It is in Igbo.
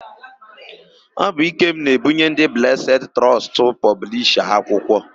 Ọ bụ Ikem na-ebunye ndị Blesed Trọstụ pọblisha akwụkwọ.